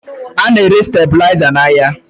A na-ere stabuliza n'ahịa